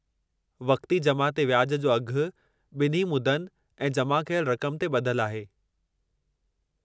वक़्ती जमा ते व्याजु जो अघु ॿिन्ही मुदनि ऐं जमा कयलु रक़म ते ॿधलु आहे।